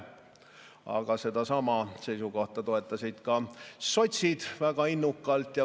Aga sedasama seisukohta toetasid ka sotsid väga innukalt.